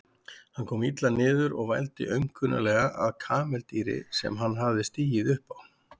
Hann kom illa niður og vældi aumkunarlega að kameldýri sem hann hafði stigið upp á.